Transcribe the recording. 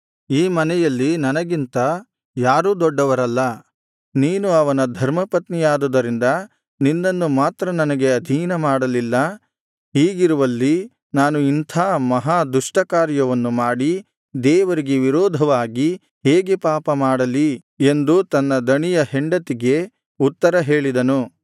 ಈ ಮನೆಯಲ್ಲಿ ನನಗಿಂತ ಯಾರೂ ದೊಡ್ಡವರಲ್ಲ ನೀನು ಅವನ ಧರ್ಮಪತ್ನಿಯಾದುದರಿಂದ ನಿನ್ನನ್ನು ಮಾತ್ರ ನನಗೆ ಅಧೀನ ಮಾಡಲಿಲ್ಲ ಹೀಗಿರುವಲ್ಲಿ ನಾನು ಇಂಥಾ ಮಹಾ ದುಷ್ಟ ಕಾರ್ಯವನ್ನು ಮಾಡಿ ದೇವರಿಗೆ ವಿರೋಧವಾಗಿ ಹೇಗೆ ಪಾಪ ಮಾಡಲಿ ಎಂದು ತನ್ನ ದಣಿಯ ಹೆಂಡತಿಗೆ ಉತ್ತರ ಹೇಳಿದನು